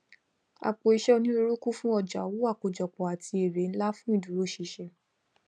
àpòiṣẹ onírúurú kún fún ọjà owó àkójọpọ àti ère ńlá fún ìdúróṣinṣin